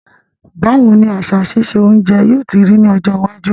Báwoni àsà sise ounje yio ti rí ní ọjọ́ iwájú